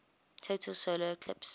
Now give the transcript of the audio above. total solar eclipse